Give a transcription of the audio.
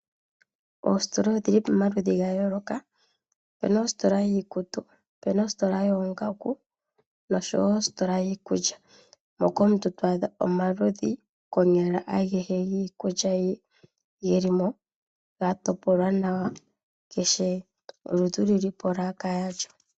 Oositola odhi li pamaludhi ga yooloka. Opu na ositola yiikutu, opu na ositola yoongaku noshowo ositola yiikulya moka omuntu to adha omaludhi konyala agehe ge li mo ya topolwa nawa, kehe oludhi olu li polaka yalyo.